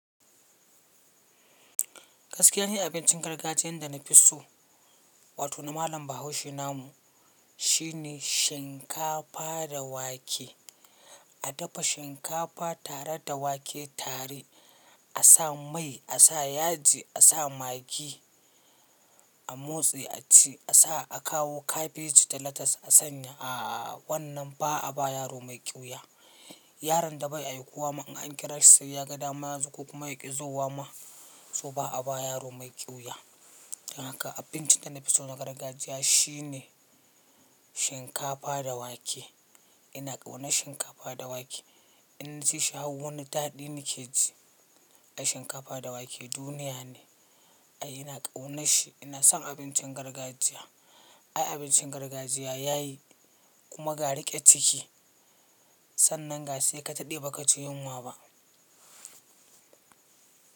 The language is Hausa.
Gaskiya ni abincin gargajiyan da na fi so, wato na malam Bahaushe namu shine shinkafa da wake. A dafa shinkafa tare da wake tare, a sa mai, a sa yaji, a sa magi, a motse a ci. A sa a kawo kabeji da latas a sanya. Aaa wannan ba a ba yaro mai ƙyuya. Yaron da bai aikuwa ma in an kira shi sai ya ga dama yazo ko kuma ya ƙi zuwa ma, so ba a ba yaro mai ƙyuya. Don haka abincin da na fi so na gargajiya shine shinkafa da wake. Ina ƙauna shinkafa da wake. Inna cishi wo wani daɗi nake ji. Ai shinkafa da wake duniya ne. Ai ina ƙauna shi. Ina son abincin gargajiya. Ai abincin gargajiya yayi kuma ga riƙe ciki, sannan ga sai ka daɗe baka cji yunwa ba.